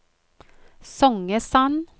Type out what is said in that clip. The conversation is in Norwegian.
Songesand